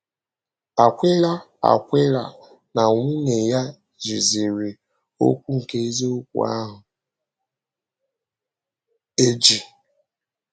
Akwịla Akwịla na nwunye ya ‘jìzìrí okwu nke eziokwu ahụ eji.’